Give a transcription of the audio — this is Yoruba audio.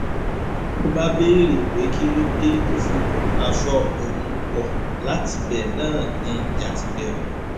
ló bá béèrè pé kí ló dé tó fi kó aṣọ òun wọ̀ látibẹ̀ náà ni ìjà ti bẹ̀rẹ̀